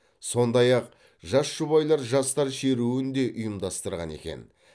сондай ақ жас жұбайлар жастар шеруін де ұйымдастырған екен